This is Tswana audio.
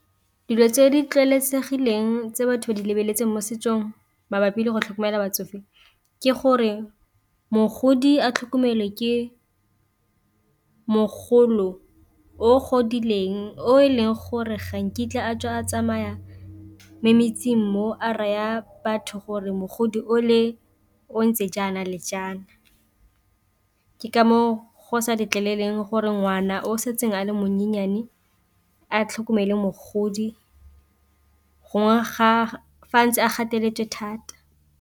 Dilo tse di tlwaelesegileng tse batho ba di lebeletseng mo setsong mabapi le go tlhokomela batsofe ke gore mogodi a tlhokomele ke mogolo o godileng, o e leng gore ga nkitla a tswa a tsamaya mo metseng mo a raya batho gore mogodi o le o ntse jaana le jaana, ke ka moo go sa letleleleng gore ngwana o setseng a le menyennyane a tlhokomele mogodi gongwe fa ntse a gateletswe thata.